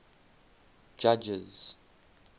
judges